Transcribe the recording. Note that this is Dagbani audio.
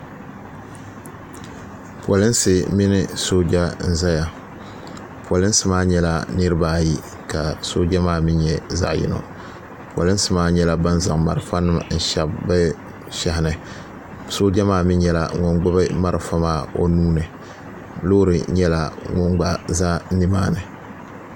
Polinsi mini sooja n zaya polinsi maa nyɛla niriba ayi ka sooja maa mee nyɛ zaɣa yino polinsi maa nyɛla ban zaŋ marafa nima n shebi bɛ shehi ni sooja maa mee nyɛla ŋun gbibi marafa maa o nuuni loori nyɛla ŋun gba za nimaani.